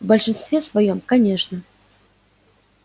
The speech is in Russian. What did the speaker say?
в большинстве своём конечно